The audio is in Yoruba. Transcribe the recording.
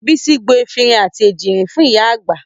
Bísí gbo efinrin àti èjìrìn fún ìyá àgbà